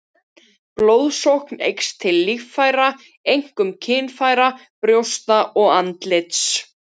Blóðsókn eykst til líffæra, einkum kynfæra, brjósta og andlits.